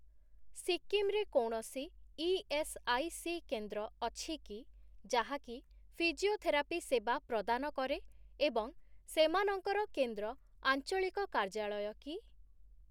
ସିକିମ୍ ରେ କୌଣସି ଇଏସ୍ଆଇସି କେନ୍ଦ୍ର ଅଛି କି ଯାହାକି ଫିଜିଓଥେରାପି ସେବା ପ୍ରଦାନ କରେ ଏବଂ ସେମାନଙ୍କର କେନ୍ଦ୍ର 'ଆଞ୍ଚଳିକ କାର୍ଯ୍ୟାଳୟ' କି?